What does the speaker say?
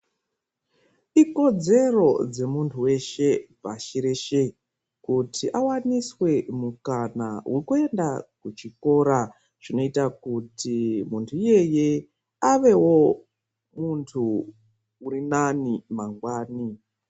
Ikodzero dzemuntu weshe pashi reshe kuti awaniswe mukana wekuenda kuchikora. Zvinoita kuti muntu iyeye avewo muntu urinani mangwani.